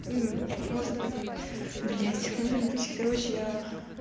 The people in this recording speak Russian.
может быть блять может быть короче я